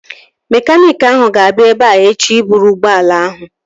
Mekaniiki ahụ ga-abịa ebea echi ịbụrụ ụgbọala ahụ